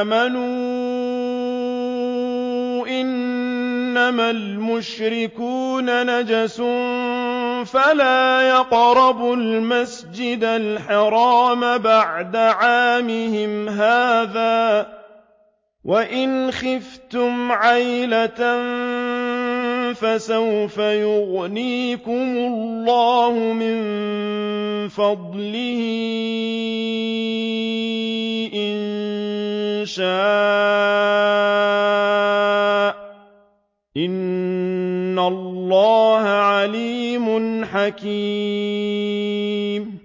آمَنُوا إِنَّمَا الْمُشْرِكُونَ نَجَسٌ فَلَا يَقْرَبُوا الْمَسْجِدَ الْحَرَامَ بَعْدَ عَامِهِمْ هَٰذَا ۚ وَإِنْ خِفْتُمْ عَيْلَةً فَسَوْفَ يُغْنِيكُمُ اللَّهُ مِن فَضْلِهِ إِن شَاءَ ۚ إِنَّ اللَّهَ عَلِيمٌ حَكِيمٌ